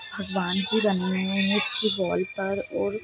भगवान जी बने हुऐ है इसकी वाल पर और--